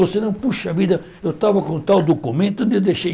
Você não, poxa vida, eu estava com tal documento, onde eu deixei?